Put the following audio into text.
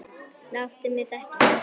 Láttu mig þekkja það!